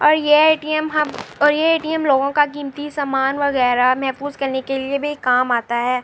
اور یہ ے.ٹی.یم ہم اور یہ ے.ٹی.یم لوگوکا کیمٹی سامان وگیر ہ محفوظ کرنے کے لئے بھی کام آتا ہے۔